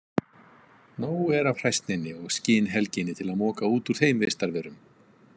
Nóg er af hræsninni og skinhelginni til að moka út úr þeim vistarverum.